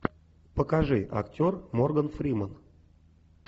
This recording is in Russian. покажи актер морган фриман